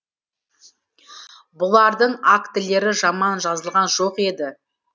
бұлардың актілері жаман жазылған жоқ еді